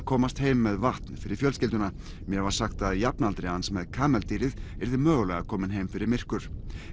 komast heim með vatn fyrir fjölskylduna mér var sagt að jafnaldri hans með kameldýrið yrði mögulega kominn heim fyrir myrkur